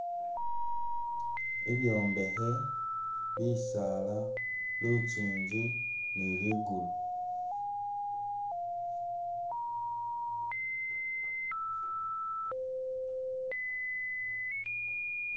Ibyombekhe, bisaala, lukyinji ni ligulu